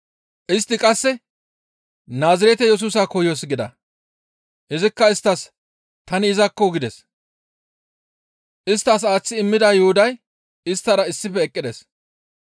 Istti qasse, «Naazirete Yesusa koyoos» gida. Izikka isttas, «Tani izakko» gides. Isttas aaththi immida Yuhuday isttara issife eqqides.